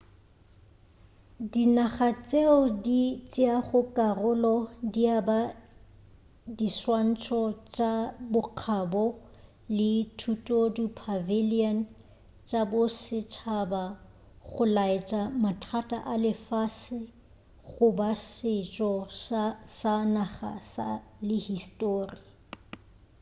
dinaga tšeo di tšeago karolo di aba diswantšho tša bokgabo le thutodi pavilion tša bosetšhaba go laetša mathata a lefase goba setšo sa naga le histori